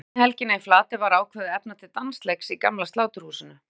Seinni helgina í Flatey var ákveðið að efna til dansleiks í gamla Sláturhúsinu.